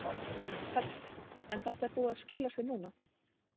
Hödd: En þetta er búið að skila sér núna?